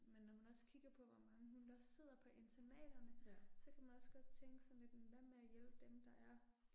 Men når man også kigger på hvor mange hunde der sidder på internaterne, så kan man også godt tænke sådan lidt men hvad med at hjælpe dem der er